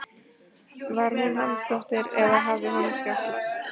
Var hún Hansdóttir eða hafði honum skjátlast?